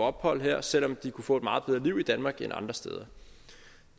ophold her selv om de kunne få et meget bedre liv i danmark end andre steder